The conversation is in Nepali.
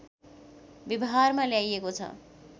व्यवहारमा ल्याइएको छ